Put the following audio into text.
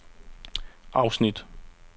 afsnit